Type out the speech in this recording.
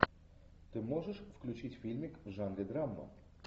ты можешь включить фильмик в жанре драма